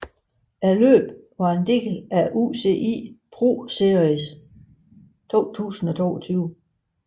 Løbet var en del af UCI ProSeries 2022